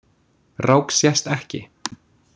Rák sést ekki.